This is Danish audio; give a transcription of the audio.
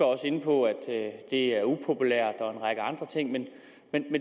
også inde på at det er upopulært og en række andre ting men